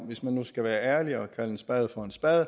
hvis man nu skal være ærlig og kalde en spade for en spade